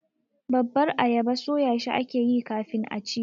babbar ayaba soyashi ake yi kafin a ci.